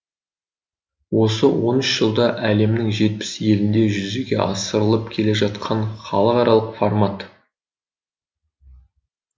осы он үш жылда әлемнің жетпіс елінде жүзеге асырылып келе жатқан халықаралық формат